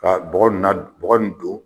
Ka bɔgɔ nin na d bɔgɔ nin don